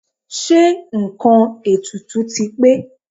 Ṣé nǹkan ètùtù ti pé?